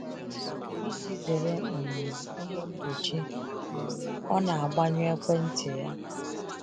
Iji zere um ihe mgbochi um, ọ na agbanyụ ekwentị ya.